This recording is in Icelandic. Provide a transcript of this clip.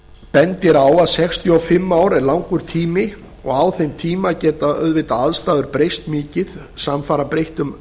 bendir á að sextíu og fimm ár eru langur tími og á þeim tíma geta auðvitað aðstæður breyst mikið samfara breyttum